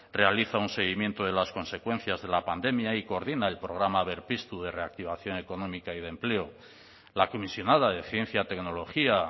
realiza un seguimiento de las consecuencias de la pandemia y coordina el programa berpiztu de reactivación económica y de empleo la comisionada de ciencia tecnología